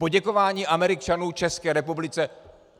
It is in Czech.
Poděkování Američanů České republice.